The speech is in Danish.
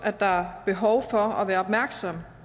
at der er behov for at være opmærksomme